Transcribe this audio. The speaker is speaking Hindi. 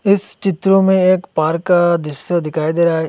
इस चित्र में एक पार्क का दृश्य दिखाई दे रहा--